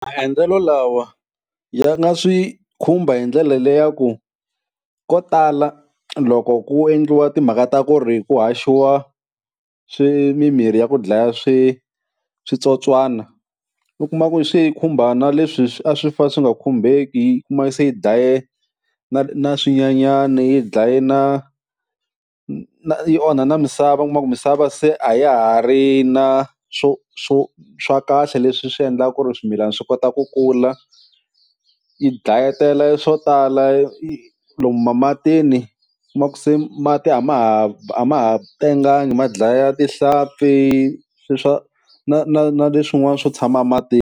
Maendlelo lawa ya nga swi khumba hi ndlela leyaku ko tala loko ku endliwa timhaka ta ku ri ku haxiwa swi mimirhi ya ku dlaya swi switsotswana, u kuma ku swi khumba na leswi swi a swi fa swi nga khumbeki, u kuma yi se yi daye na na swinyanyani yi dlaye na na yi onha na misava u kuma ku misava se a ya ha ri na swo swo swa kahle leswi swi endlaka ku ri swimilana swi kota ku kula, yi dlayetele swo tala yi lomu ma matini, u kuma ku se mati a ma ha a ma ha tenganga ma dlaya tihlampfi swi swa na na na leswin'wana swo tshama matini.